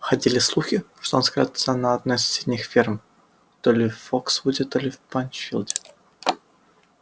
ходили слухи что он скрывается на одной из соседних ферм то ли в фоксвуде то ли в пинчфилде